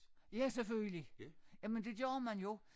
Ja selvfølgelig jamen det gør man jo